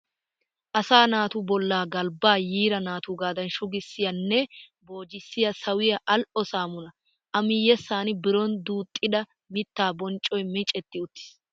Asaa naatu bollaa galbbaa yiira naatuugaadan shugissiya nne boojissiya sawiya al"o saamunaa. A miyyessan biron duuxxida mittaa boccoy micetti uttiis.